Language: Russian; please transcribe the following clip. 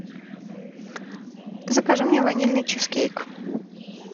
закажи мне ванильный чизкейк